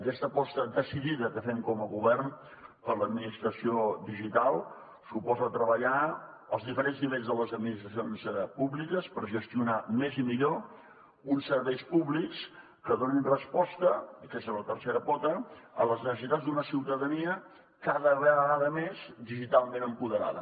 aquesta aposta decidida que fem com a govern per l’administració digital suposa treballar als diferents nivells de les administracions públiques per gestionar més i millor uns serveis públics que donin resposta i aquesta és la tercera pota a les necessitats d’una ciutadania cada vegada més digitalment empoderada